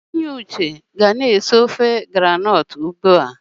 Enyi Uche ga na-esi ofe ahụ́kere ya ugbu a.